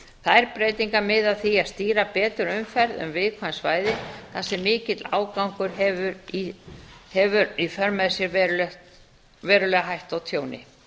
þær breytingar miða að því að stýra betur umferð um viðkvæm svæði þar sem mikill ágangur hefur í för með sér verulega hættu á tjóni